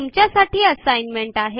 तुमच्यासाठी असाइनमेंट आहे